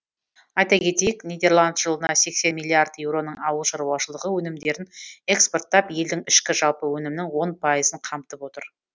айта кетейік нидерланд жылына сексен миллиард еуроның ауыл шаруашылығы өнімдерін экспорттап елдің ішкі жалпы өнімінің он пайызын қамтып отыр